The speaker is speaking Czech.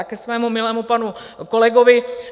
A ke svému milému panu kolegovi.